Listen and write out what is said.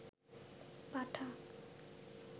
পাঠা